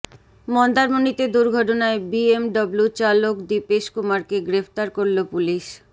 মন্দারমণিতে দুর্ঘটনায় বিএমডব্লু চালক দীপেশ কুমারকে গ্রেফতার করল পুলিস